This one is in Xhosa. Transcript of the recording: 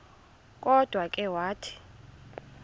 kodwa ke wathi